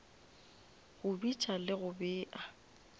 go bitša le go bea